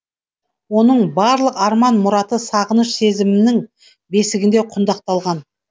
оның барлық арман мұраты сағыныш сезімінің бесігінде құндақталған